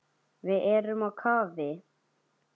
Við erum á kafi.